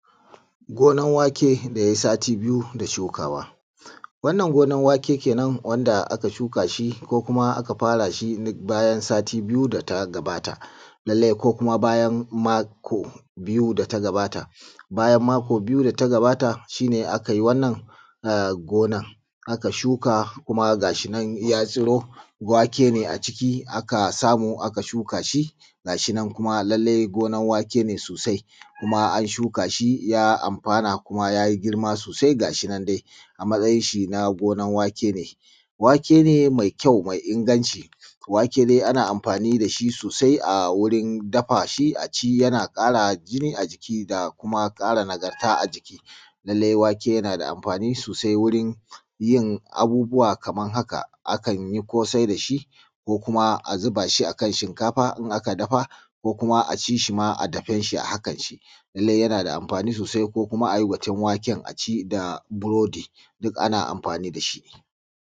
Gonar wake da yai sati biyu da shukawa. Wannan gonan wake kenan wanda aka shuka shi ko kuma aka fara shi duk bayan sati biyu da ta gabata. Lallai ko kuma bayan mako biyu da ta gabata bayan mako biyu da ta gabata shi ka yi wannan gonan. Shuka kuma ga shi nan ya tsiro wake ne a ciki da aka samu aka shuka shi, ga shi nan kuma lallai gonan wake ne sosai kuma an shuka shi ya amfana kuma ya yi girma sosai ga shi nan dai a matsayin shi na gonar wake. Wake ne mai ƙyau mai inganci, wake dai ana amfani da shi sosai a wurin dafa shi a ci yana kara jini a jiki da kuma kara nagarta a jiki. Lallai wake yana da amfani sosai wurin yin abubuwa kamar haka; akan yi kosai da shi ko kuma zuba shi a shinkafa aka dafa ko kuma a ci shi ma dafin shi a hakan. Lallai yana da amfani sosai ko kuma a yi fatan waken a ci burodi duk ana amfani da shi.